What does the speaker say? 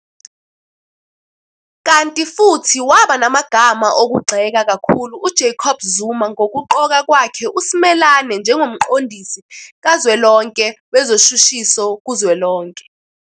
Kanti futhi waba namagama okugxeka kakhulu uJacob Zuma ngokuqoka kwakhe uSimelane njengoMqondisi Kazwelonke Wezoshushiso kuzwelonke.